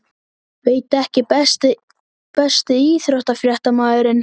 Veit ekki Besti íþróttafréttamaðurinn?